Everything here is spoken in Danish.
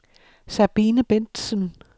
Sabine Bentsen